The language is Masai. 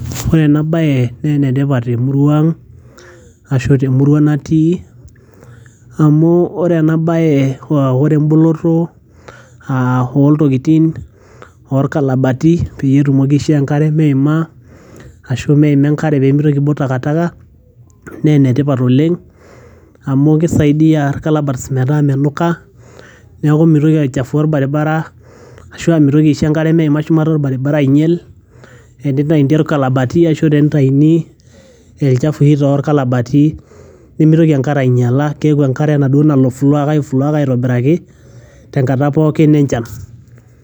ore ena baye naa enetipat temurua ang ashu temurua natii amu ore ena baye uh, ore emboloto uh, oltokitin orkalabati peyie etumoki aishoo enkare meima ashu meima enkare pemitoki aibok takataka naa enetipat oleng amu kisaidiyia irkalabats metaa menuka niaku mitoki aichafua orbaribara ashua mitoki aisho enkare meima shumata orbaribara ainyiel enitaini irkalabati ashu tenitaini elchafui torkalabati nemitoki enkare ainyiala keeku enkare enaduo nalo flow aiflow ake aitobiraki tenkata pookin enchan.